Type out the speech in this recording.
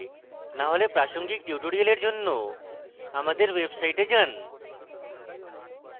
না হলে প্রাসঙ্গিক tutorials জন্য আমাদের website যান